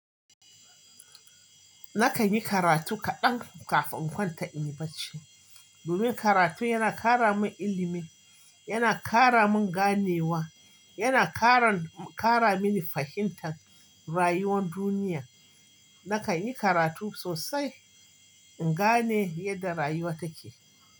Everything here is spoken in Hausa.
Nakan yi karatu kaɗan kafin in kwanta in yi bacci. Domin karatu yana kara min ilimin, yana kara min ganewa, yana karan- kara mini fahimtar rayuwar duniya. Nakan yi karatu sosai in gane yadda rayuwa take.